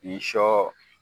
Ni sɔ